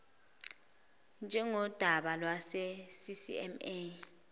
njengodaba lwase ccma